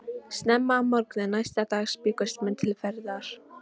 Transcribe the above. Snemma að morgni næsta dags bjuggust menn til ferðar.